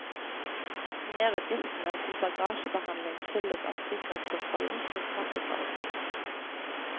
Merutgiftene til bagasjebehandling skyldes at sikkerhetskontrollen skal trappes opp.